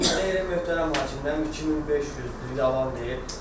Yadımda deyil, möhtərəm hakim. Mən 2500, yalan deyil.